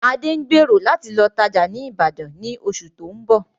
Adé ń gbèrò láti lọ tajá ni Ibadan ni oṣù tóun bọ̀